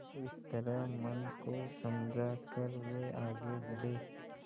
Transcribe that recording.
इस तरह मन को समझा कर वे आगे बढ़े